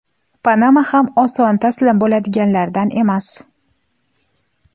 Panama ham oson taslim bo‘ladiganlardan emas.